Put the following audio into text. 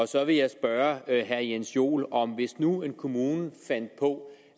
så vil jeg spørge herre jens joel om hvis nu en kommune fandt på